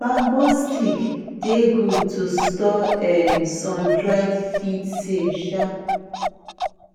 bamboo stick dey good to store um sun dried feed safe um